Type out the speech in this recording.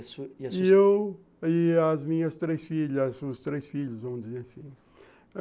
E eu e as minhas três filhas, os três filhos, vamos dizer assim.